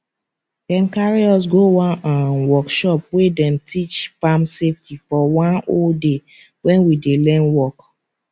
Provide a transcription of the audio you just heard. dem carry us go one um workshop wey dem teach farm safety for one whole day when we dey learn work